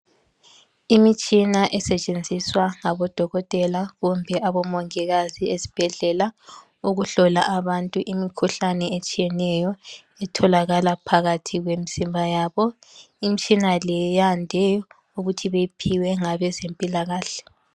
Imitshina esetshenziswa ngabodokotela kumbe abomongikazi esibhedlela ukuhlola abantu imikhuhlane etshiyeneyo etholakala phakathi kwemizimba yabo imitshina le yande ukuthi beyiphiwe ngabezempilakahle.